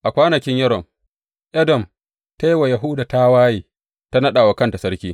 A kwanakin Yoram, Edom ta yi wa Yahuda tawaye, ta naɗa wa kanta sarki.